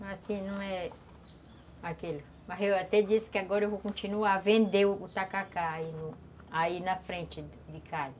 Mas, assim, não é aquele... Mas eu até disse que agora eu vou continuar a vender o tacacá aí na frente de casa.